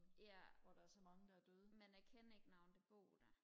ja men jeg kender ikke nogen der bor der